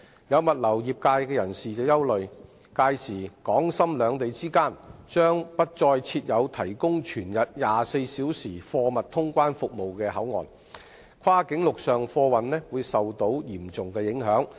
有物流業人士憂慮，屆時港深兩地之間將不再設有提供全日24小時貨物通關服務的口岸，跨境陸上貨運會受到嚴重影響。